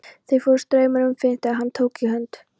Það fóru straumar um Finn þegar hann tók í hönd